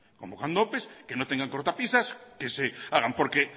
convocando opes que no tengan cortapisas que se hagan porque